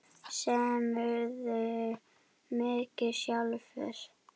Semurðu mikið sjálfur?